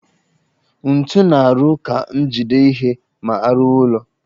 Ntu na-arụ ka njide ihe ma arụwa ụllọ